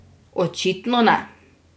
Očitno ne.